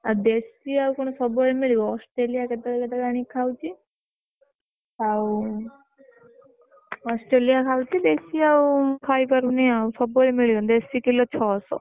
ଆଉ ଦେଶୀ ଆଉ କଣ ସବୁବେଳେ ମିଳିବ? ଅଷ୍ଟ୍ରେଲିଆ କେତେ ବେଳେ କେତେ ବେଳେ ଆଣି ଖାଉଛି ଆଉ ଅଷ୍ଟ୍ରେଲିଆ ଖାଉଛି ଦେଶୀ ଆଉ ଖାଇପାରୁନି ଆଉ ସବୁ ବେଳେ ମିଳିବ ନା ଦେଶି କିଲୋ ଛଅସ ବୁଝିଲୁ।